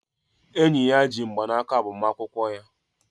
Enyi ya ji mgbanaka agbamakwụkwọ ya.